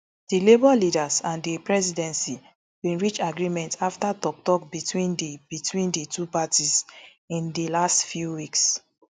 di labour leaders and di presidency bin reach agreement afta toktok between di between di two parties in di last few weeks